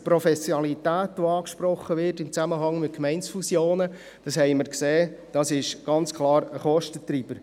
Die Professionalität, die in Zusammenhang mit den Gemeindefusionen angesprochen wird, ist ganz klar ein Kostentreiber.